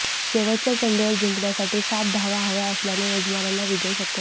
शेवटच्या चेंडूवर जिंकण्यासाठी सात धावा हव्या असल्याने यजमानांना विजय शक्य नव्हता